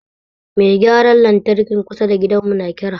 Mai gyaran lantrakin kusa da gidan mu na kira